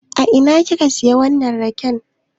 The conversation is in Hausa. A ina ki ka siya wannan raken?